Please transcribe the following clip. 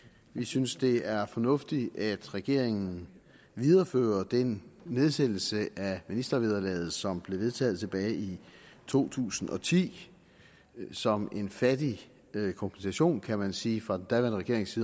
vi synes det er fornuftigt at regeringen viderefører den nedsættelse af ministervederlaget som blev vedtaget tilbage i år to tusind og ti som en fattig kompensation kan man sige fra den daværende regerings